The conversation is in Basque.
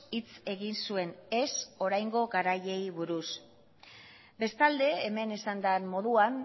hitz egin zuen ez oraingo garaiei buruz bestalde hemen esan den moduan